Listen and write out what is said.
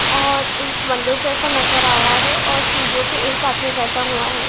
और एक मंदिर जैसा नजर आ रहा है और सीढ़ीओ पे एक आदमी बैठा हुआ है।